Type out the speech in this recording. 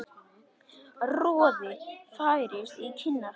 Roði færist í kinnar hans.